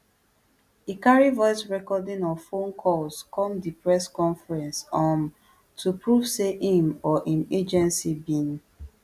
e carry voice recording of phone calls come di press conference um to prove say im or im agency bin